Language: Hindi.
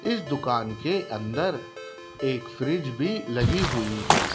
इस दुकान के अंदर एक फ्रिज भी लगी हुई है।